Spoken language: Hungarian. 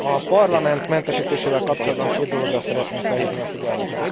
A Parlament mentesítésével kapcsolatban két dologra szeretném felhívni a figyelmet.